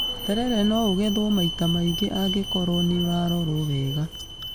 Terere no ũgethwo maita maingĩ angĩkorwo nĩ ũrarorwo wega.